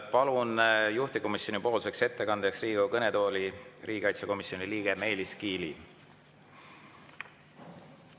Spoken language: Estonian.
Palun juhtivkomisjoni ettekandeks Riigikogu kõnetooli riigikaitsekomisjoni liikme Meelis Kiili.